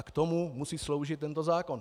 A k tomu musí sloužit tento zákon.